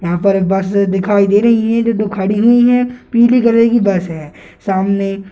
वहां पर बस दिखाई दे रही है जो खड़ी हुई है पीले कलर की बस है सामने --